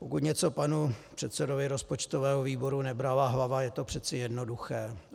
Pokud něco panu předsedovi rozpočtového výboru nebrala hlava, je to přeci jednoduché.